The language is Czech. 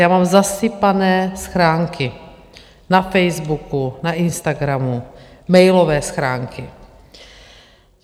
Já vám zasypané schránky na Facebooku, na Instagramu, mailové schránky.